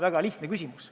Väga lihtne küsimus.